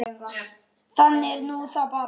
Þannig er nú það bara.